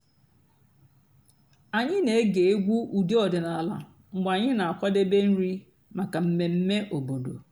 ányị́ nà-ège ègwú ụ́dị́ ọ̀dị́náàlà mg̀bé ànyị́ nà-àkwàdébé nrí màkà m̀mèmè òbòdo.